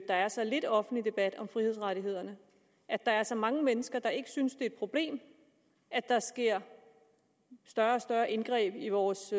er så lidt offentlig debat om frihedsrettighederne og at der er så mange mennesker der ikke synes et problem at der sker større og større indgreb i vores